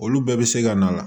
Olu bɛɛ bɛ se ka na